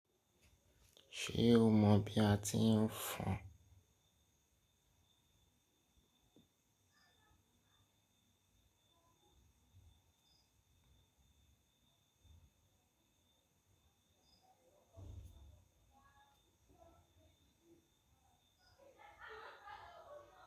Ṣé o mọ bí a ti ń fọn?